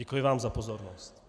Děkuji vám za pozornost.